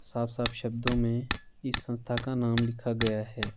साफ-साफ शब्दों में इस संस्था का नाम लिखा गया है।